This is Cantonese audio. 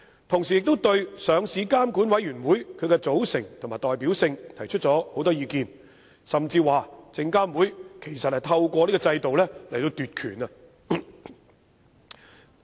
同時，他們亦對上市監管委員會的組成和代表性提出了很多意見，甚至指證監會其實是想透過此制度奪權。